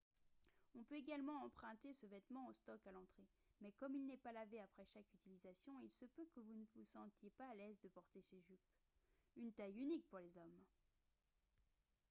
on peut également emprunter ce vêtement au stock à l'entrée mais comme il n'est pas lavé après chaque utilisation il se peut que vous ne vous sentiez pas à l'aise de porter ces jupes une taille unique pour les hommes